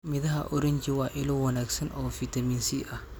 Midhaha oranji waa ilo wanaagsan oo fitamiin C ah.